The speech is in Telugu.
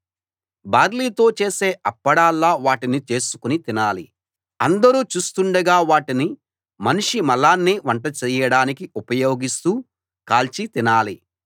బార్లీతో చేసే అప్పడాల్లా వాటిని చేసుకుని తినాలి అందరూ చూస్తుండగా వాటిని మనిషి మలాన్నే వంట చేయడానికి ఉపయోగిస్తూ కాల్చి తినాలి